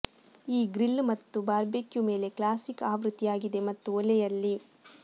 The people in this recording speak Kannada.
ಈ ಗ್ರಿಲ್ ಮತ್ತು ಬಾರ್ಬೆಕ್ಯೂ ಮೇಲೆ ಕ್ಲಾಸಿಕ್ ಆವೃತ್ತಿಯಾಗಿದೆ ಮತ್ತು ಒಲೆಯಲ್ಲಿ